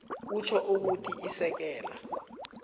kutjho ukuthi isekela